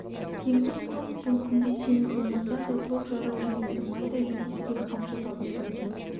теңбіл көк бұл күнде семіз болмаса да тоқ жарау желісі майда жүрісі де қамшы салғызбайтын